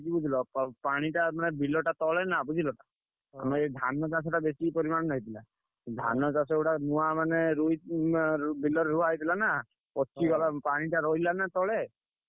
ପା ପାଣିଟା ମାନେ ବିଲଟା ତଳେ ନା ବୁଝିଲ ଆମ ଏ ଧାନ ଚାଷ ଟା ବେଶୀ ପରିମାଣ ରେ ହେଇଥିଲା, ଧାନ ଚାଷ ଗୁଡା ନୁଆ ମାନେ ରୋଇ ବିଲରେ ରୁଆ ହେଇଥିଲା ନା, ପଚିଗଲା ପାଣିଟା ରହିଗଲା ନା ତଳେ,